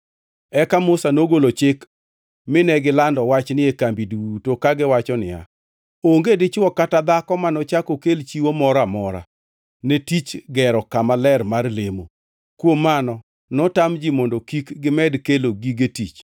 Eka Musa nogolo chik mine gilando wachni e kambi duto kagiwacho niya, “Onge dichwo kata dhako manochak okel chiwo moro amora ne tich gero kama ler mar lemo.” Kuom mano notam ji mondo kik gimed kelo gige tich,